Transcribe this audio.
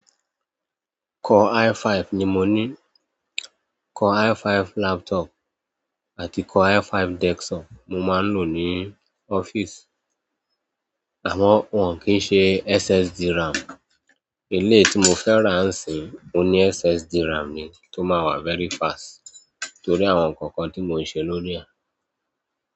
Core i5 ni mo ní. Core i5 laptop àti Core i5 desktop mo máa ń lò ní ọ́fíìsì. Àmọ́ wọn kì n ṣe SSD RAM. Iléyi tí mo fẹ́ràn ń sin, ó ní SSD RAM ni tó máa wà very fast torí àwọn nǹkan kan tí mo ń ṣe lórí e.